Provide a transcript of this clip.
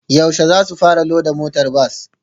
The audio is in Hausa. Yaushe zasu fara loda motar bas?